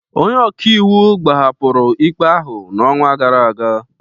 Ndị ọka iwu gbahapụrụ ikpe ahụ n'ọnwa gara aga